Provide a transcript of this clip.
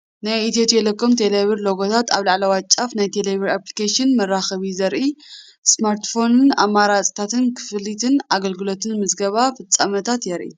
ናይ ኤቲዮ ቴሌኮምን ቴሌብርን ሎጎታት ኣብ ላዕለዋይ ጫፍ ።ናይ ቴሌቢር ኣፕሊኬሽን መራኸቢ ዘርኢ ስማርትፎን ኣማራጺታት ክፍሊትን ኣገልግሎታትን ምዝገባ ፍጻመታትን የርኢ።